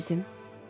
Mənim əzizim.